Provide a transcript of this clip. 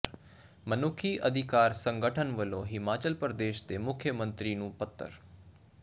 ਮਨੁੱਖੀ ਅਧਿਕਾਰ ਸੰਗਠਨ ਵੱਲੋਂ ਹਿਮਾਚਲ ਪ੍ਰਦੇਸ਼ ਦੇ ਮੁੱਖ ਮੰਤਰੀ ਨੂੰ ਪੱਤਰ